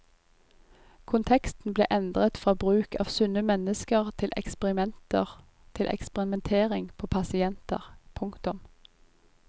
Konteksten ble endret fra bruk av sunne mennesker til eksperimenter til eksperimentering på pasienter. punktum